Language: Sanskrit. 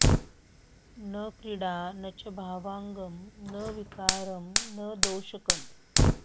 न क्रीडा न च भावाङ्गं न विकारं न दोषकम्